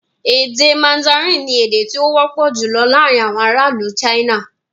Èdè mandarin ni èdè tí ó wọ́pọ̀ jùlọ laarin awọn ara ilu China